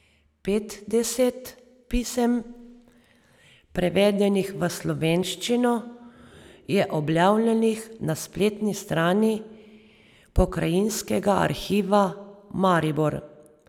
Petdeset pisem, prevedenih v slovenščino, je objavljenih na spletni strani Pokrajinskega arhiva Maribor.